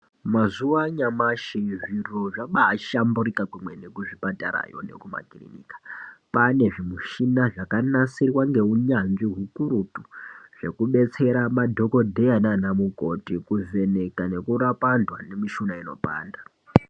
Mazuva anyamashi zvintu zvabai shamburika kwemene ku zvipatara ne kuma kirinaka kwane zvimushina zvaka nasirwa ne unyanzvi ukurutu zveku detsera madhokodheya nana mukoti kuvheneka neku rapa antu ane mushuna inopanda.